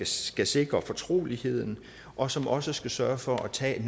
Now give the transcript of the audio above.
skal sikre fortroligheden og som også skal sørge for at tage